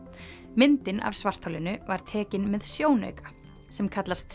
myndin af svartholinu var tekin með sjónauka sem kallast